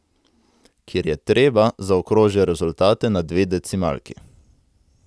Kjer je treba, zaokroži rezultate na dve decimalki.